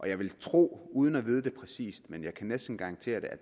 jeg vil tro uden at vide det præcis men jeg kan næsten garantere det at